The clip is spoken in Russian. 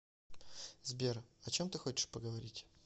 сбер о чем ты хочешь поговорить